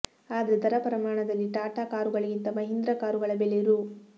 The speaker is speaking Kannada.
ಆದ್ರೆ ದರ ಪ್ರಮಾಣದಲ್ಲಿ ಟಾಟಾ ಕಾರುಗಳಿಂತ ಮಹೀಂದ್ರಾ ಕಾರುಗಳ ಬೆಲೆ ರೂ